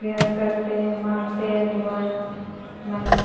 prayer करते हैं मांगते हैं दुआ मन्नत --